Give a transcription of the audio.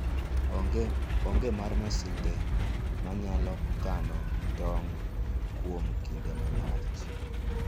onge mar masinde ma nyalo kano tong kuom kinde malach.